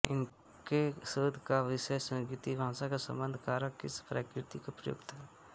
उनके शोध का विषय संस्कृत भाषा में संबंधकारक की प्रकृति और प्रयोग था